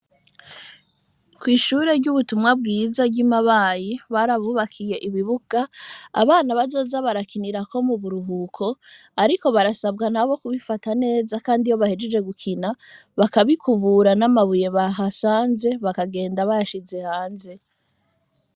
Kw’ishure ry'ubutumwa bwiza ry'i Mabayi, barabubakiye ibibuga abana bazoza barakinirako mu buruhuko, ariko barasabwa nabo kubifata neza, kandi iyo bahejeje gukina bakabikubura, n'amabuye bahasanze bakagenda bayashize hanze.